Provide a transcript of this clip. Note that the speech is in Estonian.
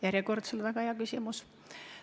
Järjekordselt väga hea küsimus.